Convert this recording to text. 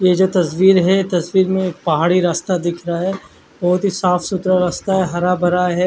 ये जो तस्वीर है जो तस्वीर पहाड़ी रस्यता दिख रहा है बोहोत ही साफ़ सुथरा रास्ता है हर भरा है।